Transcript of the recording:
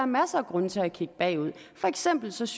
masser af grunde til at kigge bagud for eksempel synes